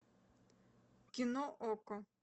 кино окко